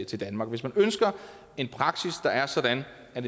til danmark hvis man ønsker en praksis der er sådan at